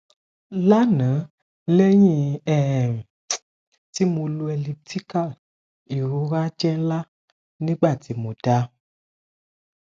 lana lẹhin um ti mo lò elliptical irora jẹ nla nigbati mo dá